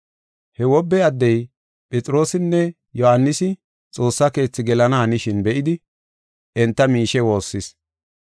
He wobbe addey Phexroosinne Yohaanisi Xoossa Keethi gelana hanishin be7idi enta miishe woossis.